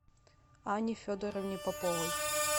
анне федоровне поповой